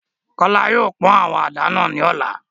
Kola yóò pọn awọn àdá náa ni ọla